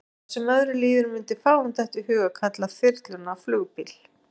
Hvað sem öðru líður mundi fáum detta í hug að kalla þyrluna flugbíl.